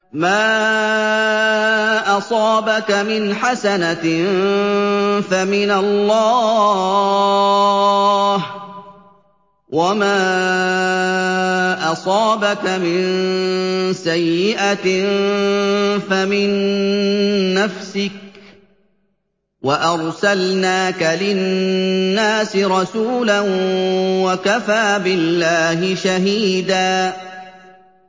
مَّا أَصَابَكَ مِنْ حَسَنَةٍ فَمِنَ اللَّهِ ۖ وَمَا أَصَابَكَ مِن سَيِّئَةٍ فَمِن نَّفْسِكَ ۚ وَأَرْسَلْنَاكَ لِلنَّاسِ رَسُولًا ۚ وَكَفَىٰ بِاللَّهِ شَهِيدًا